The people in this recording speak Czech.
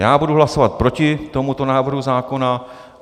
Já budu hlasovat proti tomuto návrhu zákona.